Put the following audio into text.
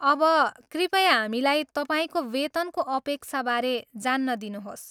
अब कृपया हामीलाई तपाईँको वेतनको अपक्षाबारे जान्न दिनुहोस्।